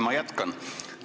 Ma jätkan.